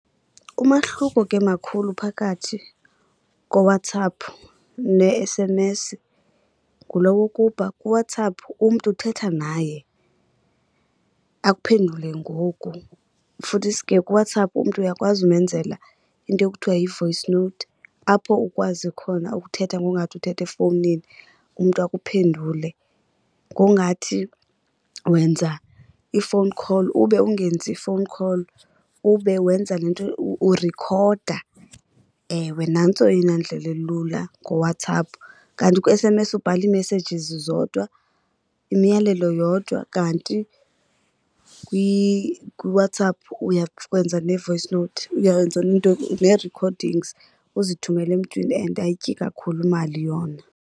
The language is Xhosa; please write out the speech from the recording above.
Umahluko ke makhulu phakathi koWhatsApp ne-S_M_S ngulo wokuba kuWhatsApp umntu uthetha naye akuphendule ngoku. Futhisi ke kuWhatsApp umntu uyakwazi umenzela into ekuthiwa yi-voice note apho ukwazi khona ukuthetha ngowungathi uthetha efowunini umntu akuphendule. Ngowungathi wenza i-phone call ube ungenzi phone call ube wenza le nto urekhoda. Ewe, nantso eyona ndlela ilula ngoWhatsApp. Kanti kwi-S_M_S ubhala ii-messages zodwa, imiyalelo yodwa, kanti kuWhatsApp uyakwenza ne-voice note, uyenza neento, nee-recordings uzithumele emntwini, and ayityi kakhulu imali yona.